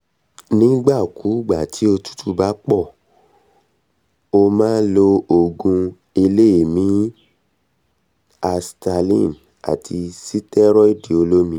nígbà kúùgbà tí òtútù bá pọ̀ ó máa lo òògùn eléèémí i asthaline àti sítẹ́rọ́ìdì olómi